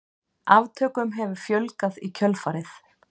Aftökum hefur fjölgað í kjölfarið.